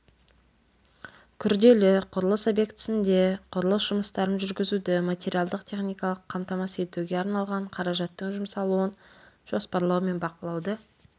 күрделі құрылыс объектісінде құрылыс жұмыстарын жүргізуді материалдық-техникалық қамтамасыз етуге арналған қаражаттың жұмсалуын жоспарлау мен бақылауды